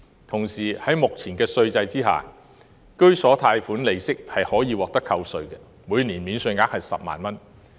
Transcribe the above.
同時，在目前的稅制下，居所貸款利息可獲扣稅，每年免稅額為10萬元。